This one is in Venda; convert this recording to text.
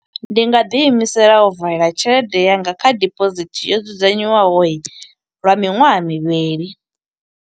Ndi nga ḓi imisela u valela tshelede yanga kha dibosithi yo dzudzanywaho, lwa miṅwaha mivhili.